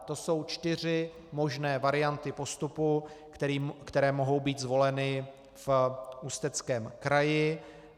To jsou čtyři možné varianty postupu, které mohou být zvoleny v Ústeckém kraji.